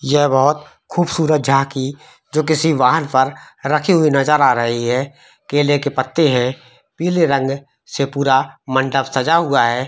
ये बहुत खुबसूरत जहा की जो किसी वाहन पर रखी हुई नजर आ रही है केले के पत्ते हैपीले रंग से पुरा मंडप सजा हुआ है।